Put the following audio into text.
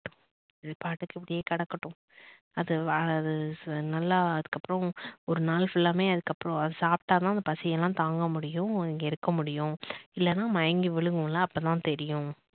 அது பாட்டுக்கு இப்படியே கிடக்கட்டும் அது அது நல்லா அதுக்கப்புறம் ஒருநாள் full லாவுமே அதுக்கு அப்பறம் சாப்பிட்டாதான் அந்த பசி எல்லாம் தாங்க முடியும் இங்க இருக்க முடியும் இல்லனா மயங்கி விழுமுல்ல அப்பதான் தெரியும்